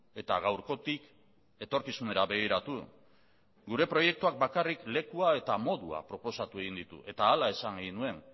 eta gaurkotik etorkizunera begiratu gure proiektuak bakarrik lekua eta modua proposatu egin ditu eta hala esan egin nuen